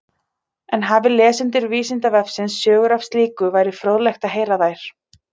En hafi lesendur Vísindavefsins sögur af slíku væri fróðlegt að heyra þær.